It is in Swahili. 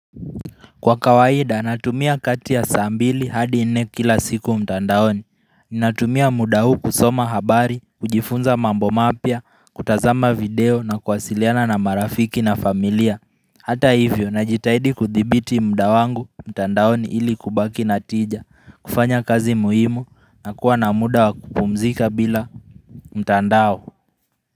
Kwa kawaida, natumia kati ya saa mbili hadi nne kila siku mtandaoni. Ninatumia muda huu kusoma habari, kujifunza mambo mapya, kutazama video na kuwasiliana na marafiki na familia. Hata hivyo, najitahidi kuthibiti muda wangu mtandaoni ili kubaki natija, kufanya kazi muhimu na kuwa na muda wakupumzika bila mtandao.